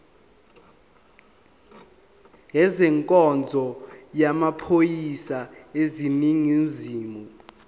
ezenkonzo yamaphoyisa aseningizimu